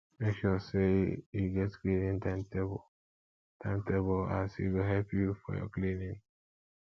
mek sure say yu get cleaning timetable timetable as e go help yu for yur cleaning